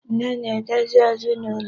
Nne na-enede ezinụlọ.